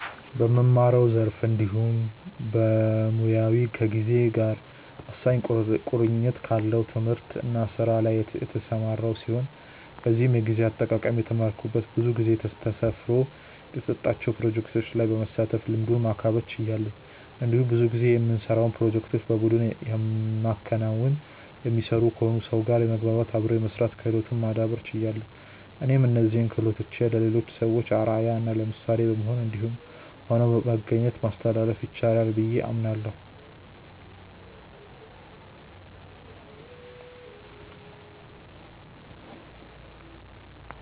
በምማረው ዘርፍ እንዲሁም በሞያዬ ከጊዜ ጋር ወሳኝ ቁርኝት ካለው ትምህርት እና ስራ ላይ የተሰማራው ሲሆን በዚህም የጊዜ አጠቃቀም የተማረኩት ብዙ ጊዜ ጊዜ ተሰፍሮ የተሰጣቸው ፕሮጀክቶች ላይ በመሳተፍ ልምዱን ማካበት ችያለሁ። እንዲሁም ብዙ ጊዜ የምንሰራውን ፕሮጀክቶች በቡድን የሚከናወኑ/የሚሰሩ ሲሆኑ ከሰው ጋር የመግባባት/አብሮ የመስራት ክህሎትን ማዳብር ችያለሁ። እኔም እነዚህን ክሆሎቶችን ለሌሎች ሰዎች አርአያ እና ምሳሌ በመሆን እንዲሁም ሆኖ በመገኘት ማስተላለፍ ይቻላል ብዬ አምናለሁ።